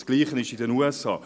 Dasselbe gilt für die USA.